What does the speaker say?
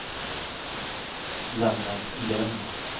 Lennart Lönn